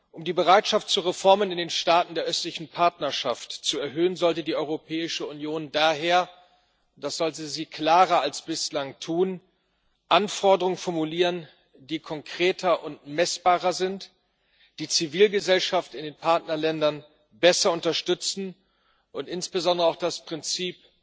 Um die Bereitschaft zu Reformen in den Staaten der Östlichen Partnerschaft zu erhöhen, sollte die Europäische Union daher das sollte sie klarer als bislang tun Anforderungen formulieren, die konkreter und messbarer sind, die Zivilgesellschaft in den Partnerländern besser unterstützen und insbesondere auch das Prinzip